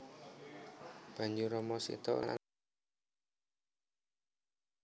Banjur Rama Sita lan Lesmana bali menyang Ayodya